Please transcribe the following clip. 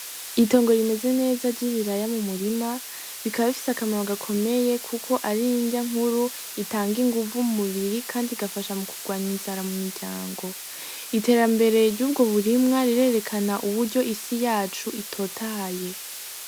Itongo rimeze neza ry’ibiraya mu murima bikaba bifise akamaro gakomeye Kuko ari inrya nkuru itanga inguvu mu mubiri kandi igafasha mu kugwanya inzara mu miryango . Iterambere ry’ubwo burimwa rirerekana uburyo isi yacu itotahaye.